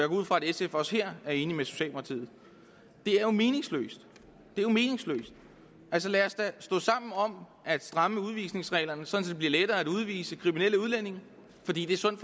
ud fra at sf også her er enig med socialdemokratiet det er jo meningsløst det er jo meningsløst lad os da stå sammen om at stramme udvisningsreglerne sådan at det bliver lettere at udvise kriminelle udlændinge fordi det er sund